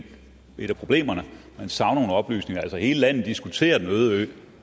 et af problemerne at man savner nogle oplysninger altså hele landet diskuterer den øde ø